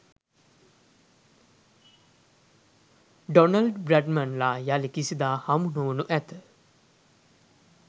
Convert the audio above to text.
Donald බ්‍රැඩ්මන්ලා යලි කිසිදා හමු නොවනු ඇත.